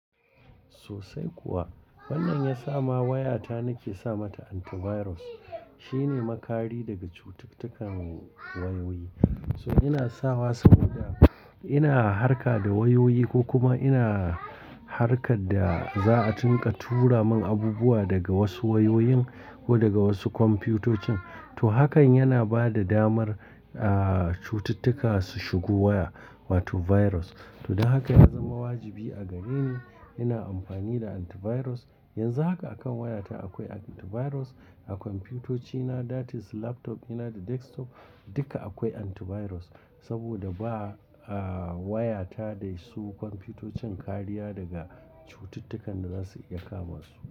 Sosai kuwa. Wannan ya sa ma wayata nake sa ma ta antivirus. Shine makari daga cututtukan wayoyi. To ina sawa saboda ina harka da wayoyi ko kuma ina harkar da za'a tinka tura mun abubuwa daga wasu wayoyin ko daga wasu kwamfutocin. To hakan yana ba da damar, ah, cututtuka su shigo waya, wato virus. To don haka ya zama wajibi a gareni ina amfani da antivirus. Yanzu haka a kan wayata akwai antivirus. A kwamfutocina, that is laptop dina da desktop duka akwai antivirus. Saboda ba, ah, wayata da su kwamfutocin kariya daga cututtukan da za su iya kama su.